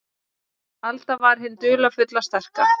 Alda var hin dularfulla, sterka.